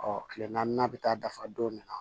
kile naaninan bɛ taa dafa don min na